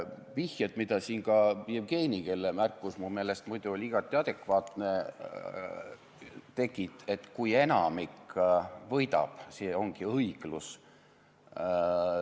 Vihjeid tegi siin ka Jevgeni , et kui enamik võidab, see ongi õiglus.